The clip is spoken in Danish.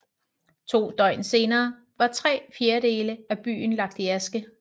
To døgn senere var tre fjerdedele af byen lagt i aske